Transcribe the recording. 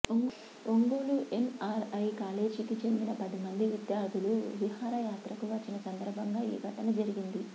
Ongole NRI కాలేజీకి చెందిన పది మంది విద్యార్థులు విహారయాత్రకు వచ్చిన సందర్భంగా ఈ ఘటన జరిగింది